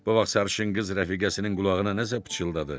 Bu vaxt sarışın qız rəfiqəsinin qulağına nəsə pıçıldadı.